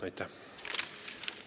Aitäh!